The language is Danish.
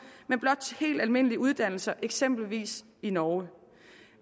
men blot til helt almindelige uddannelser eksempelvis i norge